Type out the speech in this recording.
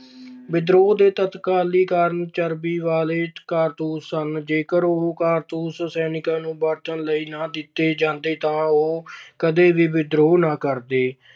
ਵਿਦਰੋਹ ਦੇ ਤਤਕਾਲੀ ਕਾਰਨ ਚਰਬੀ ਵਾਲੇ ਕਾਰਤੂਸ ਸਨ। ਜੇਕਰ ਉਹ ਕਾਰਤੂਸ ਸੈਨਿਕਾਂ ਨੂੰ ਵਰਤਣ ਲਈ ਨਾ ਦਿੱਤੇ ਜਾਂਦੇ ਤਾਂ ਉਹ ਕਦੇ ਵੀ ਵਿਦਰੋਹ ਨਾ ਕਰਦੇ।